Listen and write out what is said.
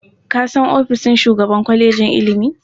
Ka san ofishin shugaban kwalejin ilimi?